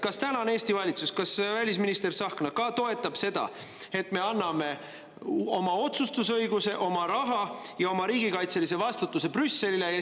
Kas tänane Eesti valitsus ja välisminister Tsahkna toetavad seda, et me anname oma otsustusõiguse, oma raha ja oma riigikaitselise vastutuse Brüsselile?